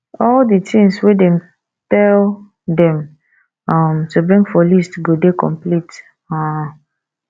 all di things wey dem tell dem um to bring for list go dey complete um